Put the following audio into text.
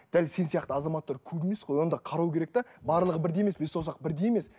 дәл сен сияқты азаматтар көп емес қой оны да қарау керек те барлығы бірдей емес бес саусақ бірдей емес